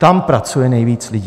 Tam pracuje nejvíc lidí.